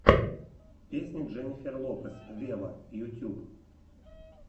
песня дженнифер лопес вево ютюб